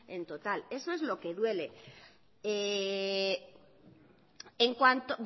en total eso es lo que duele en cuanto